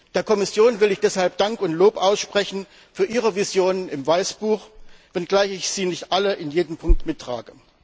Der Kommission will ich deshalb Dank und Lob aussprechen für ihre Visionen im Weißbuch, wenngleich ich sie nicht alle in jedem Punkt mittrage.